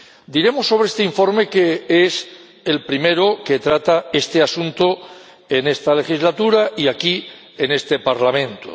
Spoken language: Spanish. Diremos sobre este informe que es el primero que trata este asunto en esta legislatura y aquí, en este Parlamento.